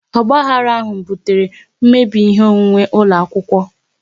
Ogbahara ahụ butere mmebi ihe onwunwe ụlọ akwụkwọ